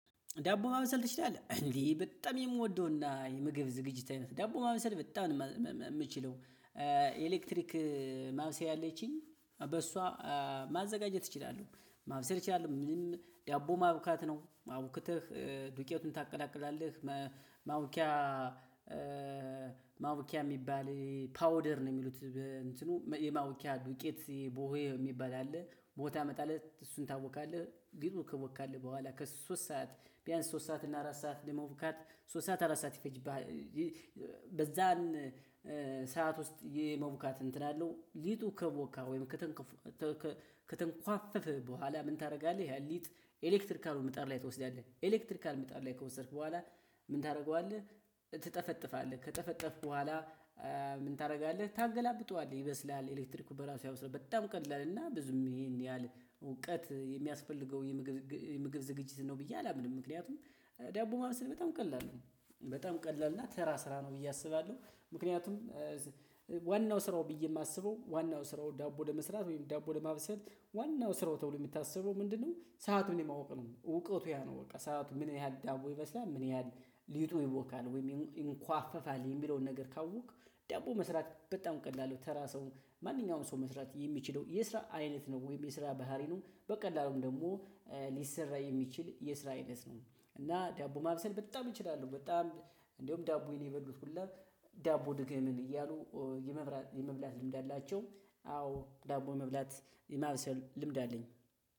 ዳቦ ማመሰል ትችላለህ እንዴ በጣም የምወደውና የምግብ ዝግጅት አይነት ዳቦ ማመሰል በጣም ነው እምችለው። ኤሌክትሪክ ማብሰር አለችኝ በሷ ማዘጋጀት እችላለሁ ማብሰል እችላለሁ። ምንም ዲያቦ ማብካት ነው አውክተህ ዱቄቱን ታቀላቅላለህ? ማ ማቡኪያ ማቡኪያ እሚባል ፓውደር ነው። እሚሉትዱቄት ቡሆ እሚባል አለ ቡሆ ታመጣለህ እሱን። ታቦካለህ ከሶስት ሰዓትና አራት ሰዓት በሁአተላ ማቡካት ሰዓት ውስጥ የመውካት እንትን አለው። ሊጡ ከቦካ ወይም ከተንኳፈፈ በኋላ ምን ታደርጋለህ? ያን ሊጥ ኤሌክትሪካል ምጣር ላይ ትወስዳለህ። ኤሌክትሪካል ምጣድ ላይ ከወሰድክ በኋላ ምን ታደርገዋለህ? ትጠፈጥፋለህ ከጠፈጠፍክ በኋላ። ምንታደርጋለህ? ታገላብጠዋለህ ኢሌክትሪኩ በራሱ ያበስለዋል በጣም ቀላል። እውቀት የሚያስፈል ገው የምግብ አይነት ነው ብየ አላስቡም። ዋናው ስራው ብየ እማስበው። ዳቦ ለመስራት ወይም ዳቦ ለማብሰል ዋናው ሰራው ተብሎ እሚታሰበው ምንድን የው ሰዓት የማውቅ ነው? እውቀቱ ያ ነው። በቃ ሰዓቱ ምን ያህል ዳቦ ይበስላል? ምን ያህል? ሊጡ ይቦካል ወይም ይንኳፈፋል የሚለውን ነገር ካወክ ዲያቦ መስራት በጣም ቀላል ነው። ተራ ሰው ማንኛውንም ሰው መስራት የሚችለው የስራ አይነት ነው። ወይም የስራ ባህሪኑ በቀላሉም ደግሞ ሊሰራ የሚችል የስራ አይነት ነው። እና ደቡብ ማልሰል በጣም እችላለሁ በጣም እንደውም ዳቦዬን የበሉት ሁላ ዳቦ ድገምል እያሉ የመብላት ልምድ አላቸው። አዎ ዳቦ የመብላት የማብሰል ልምድ አለኝ።